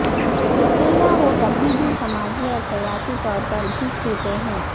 یقینا وہ کبھی بھی سماجی اور سیاسی طور پر بھی چھوتے ہیں